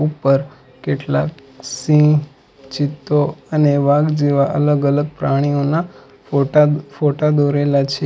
ઉપર કેટલાક સિંહ ચિત્તો અને વાઘ જેવા અલગ અલગ પ્રાણીઓ ના ફોટા ફોટા દોરેલા છે.